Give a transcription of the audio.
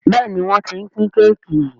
Béèni wón t'in pin Kéèkì.